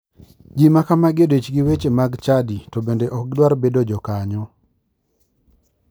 Ji makamagi odich gi weche mag chadi to bende ok gidwar bedo jokanyo.